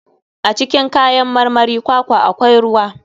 A cikin kayan marmarin kwakwa akwai ruwa.